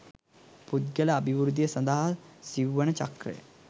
පුද්ගල අභිවෘද්ධිය සඳහා සිව්වන චක්‍රය